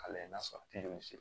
A lajɛ n'a sɔrɔ bɛ se